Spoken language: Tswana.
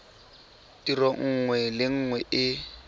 tiro nngwe le nngwe e